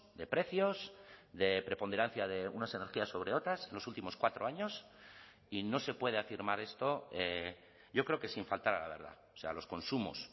de precios de preponderancia de unas energías sobre otras los últimos cuatro años y no se puede afirmar esto yo creo que sin faltar a la verdad o sea los consumos